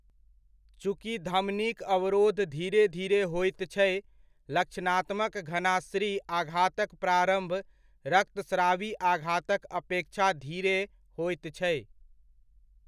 चूँकि धमनीक अवरोध धीरे धीरे होइत छै, लक्षणात्मक घनास्री आघातक प्रारम्भ रक्तस्रावी आघातक अपेक्षा धीरे होइत छै।